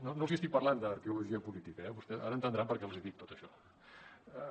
no els estic parlant d’arqueologia política eh vostès ara entendran per què els dic tot això